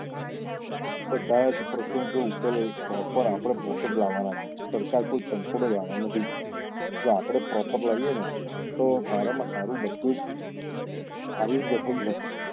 બધા જ પ્રશ્નો ના જે ઉત્તર proper આપડે પોત્તે જ લાવવા ના છે સરકાર કઈ કન્કોડું લાવવા ના નથી જો આપડે proper લાવીએ ને તો સારા માં સારું બધું જ